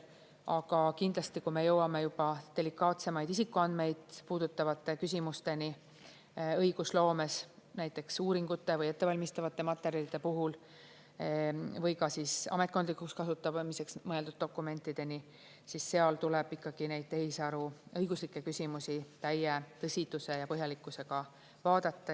Aga kindlasti, kui me jõuame juba delikaatsemaid isikuandmeid puudutavate küsimusteni õigusloomes, näiteks uuringute või ettevalmistavate materjalide puhul või ka ametkondlikuks kasutamiseks mõeldud dokumentideni, siis seal tuleb neid teise aruõiguslikke küsimusi täie tõsiduse ja põhjalikkusega vaadata.